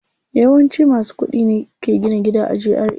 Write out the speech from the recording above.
Yawanci masu kuɗi ne ke gina gida a GRA.